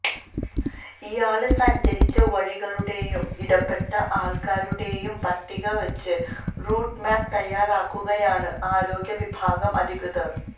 ഇയാള് സഞ്ചരിച്ച വഴികളുടെയും ഇടപെട്ട ആള്ക്കാരുടെയും പട്ടിക വെച്ച് റൂട്ട് മാപ്പ് തയ്യാറാക്കുകയാണ് ആരോഗ്യ വിഭാഗം അധികൃതര്